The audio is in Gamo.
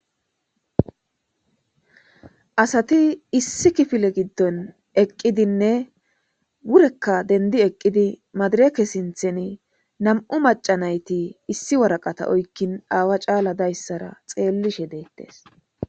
asati issi kifile giddon eqqidinne wurekka dendi eqqidi maadireke sintheni nam7u macanayti issi waraqata oykkin aawa caala dayssara xeellishe deettes